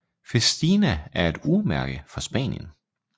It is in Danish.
Festina er et urmærke fra Spanien